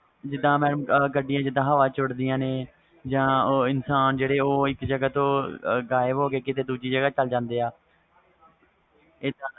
ਜਿੰਦਾ ਕਈ ਗੱਡੀਆਂ ਹਵਾ ਚ ਓਡ ਦੀਆ ਨੇ ਜਾ ਉਹ ਇਨਸਾਨ ਜਿਹੜੇ ਇਕ ਜਗਾ ਤੂੰ ਗ਼ਾਇਬ ਹੋ ਕੇ ਦੂਜੀ ਜਗਾ ਤੇ ਚਲ ਜਾਂਦੇ ਵ